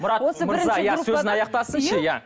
мұрат мырза иә сөзін аяқтасыншы иә